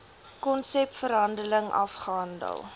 konsep verhandeling afgehandel